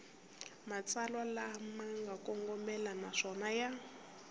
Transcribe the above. matsalwa lama kongomeke naswona ya